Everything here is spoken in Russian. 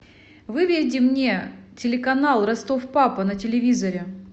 выведи мне телеканал ростов папа на телевизоре